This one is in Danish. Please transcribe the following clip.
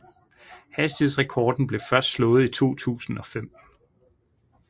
Hastighedsrekorden blev først slået i 2005